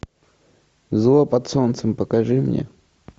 зло под солнцем покажи мне